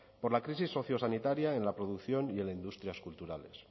por la crisis sociosanitaria en la producción y en las industrias culturales